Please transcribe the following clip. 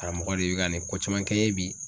Karamɔgɔ de bɛ ka nin ko caman kɛ n ye bi.